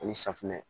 Ani safinɛ